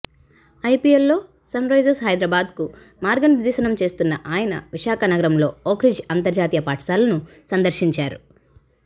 ఐపిఎల్లో Sunrisers హైదరాబాద్కు మార్గనిర్ధేశనం చేస్తున్న ఆయన విశాఖ నగరంలో ఓ క్రిడ్జ్ అంతర్జాతీయ పాఠశాలను సందర్శించారు